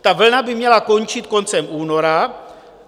Ta vlna by měla končit koncem února.